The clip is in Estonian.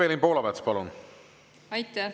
Evelin Poolamets, palun!